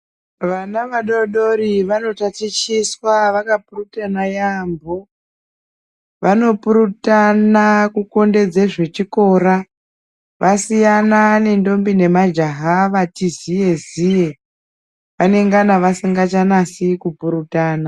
Vana vadodori vanotachitiswa vakapurutana yaambo vanopurutana kukondedze zvechikora vasiyana nentombi nemajaha vati ziye ziye vanengana vasingachanasi kupurutana.